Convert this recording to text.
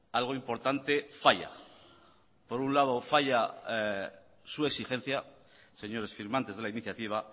algo importante falla por un lado falla su exigencia señores firmantes de la iniciativa